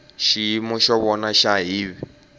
xiyimo xa vona xa hiv